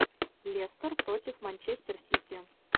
лестер против манчестер сити